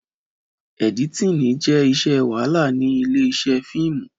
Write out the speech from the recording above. Ẹ̀dítínì jẹ́ iṣẹ́ wàhálà ní ilé iṣẹ́ fíìmù